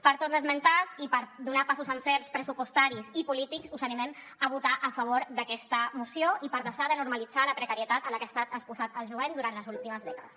per tot l’esmentat i per donar passos en fets pressupostaris i polítics us animem a votar a favor d’aquesta moció i per deixar de normalitzar la precarietat a la que ha estat exposat el jovent durant les últimes dècades